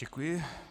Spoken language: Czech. Děkuji.